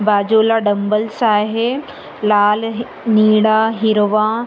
बाजूला डंबेल्स आहे लाल हि निळा हिरवा--